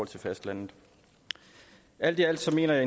til fastlandet alt i alt mener jeg